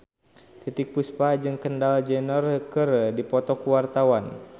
Titiek Puspa jeung Kendall Jenner keur dipoto ku wartawan